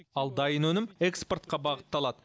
ал дайын өнім экспортқа бағытталады